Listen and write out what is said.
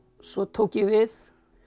svo tók ég við